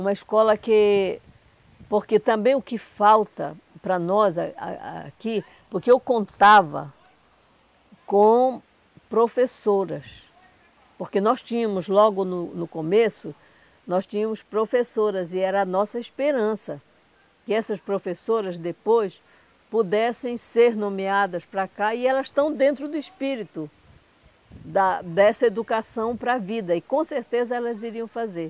Uma escola que... porque também o que falta para nós a a aqui, porque eu contava com professoras, porque nós tínhamos logo no no começo, nós tínhamos professoras e era a nossa esperança que essas professoras depois pudessem ser nomeadas para cá e elas estão dentro do espírito da dessa educação para a vida e com certeza elas iriam fazer.